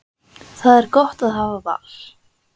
Það er gott að hafa val!